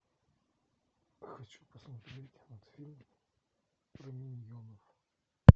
хочу посмотреть мультфильм про миньонов